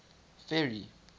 ferry